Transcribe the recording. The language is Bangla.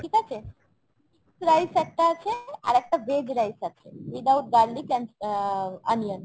ঠিক আছে ? rice একটা আছে আর একটা veg rice আছে।